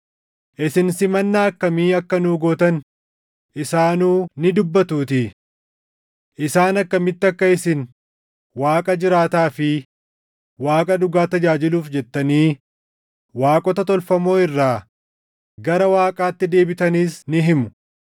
isin simannaa akkamii akka nuu gootan isaanuu ni dubbatuutii. Isaan akkamitti akka isin Waaqa jiraataa fi Waaqa dhugaa tajaajiluuf jettanii waaqota tolfamoo irraa gara Waaqaatti deebitanis ni himu;